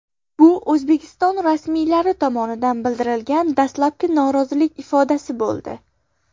Bu O‘zbekiston rasmiylari tomonidan bildirilgan dastlabki norozilik ifodasi bo‘ldi.